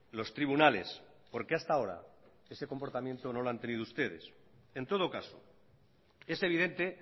los tribunales porque hasta ahora ese comportamiento no lo han tenido ustedes en todo caso es evidente